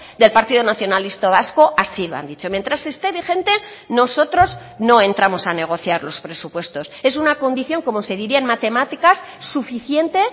del partido nacionalista vasco así lo han dicho mientras esté vigente nosotros no entramos a negociar los presupuestos es una condición como se diría en matemáticas suficiente